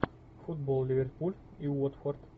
футбол ливерпуль и уотфорд